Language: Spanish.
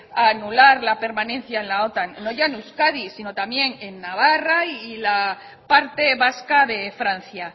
a anular la permanencia en la otan no ya en euskadi sino también en navarra y la parte vasca de francia